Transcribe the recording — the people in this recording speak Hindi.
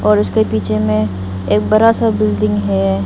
और उसके पीछे में एक बड़ा सा बिल्डिंग है।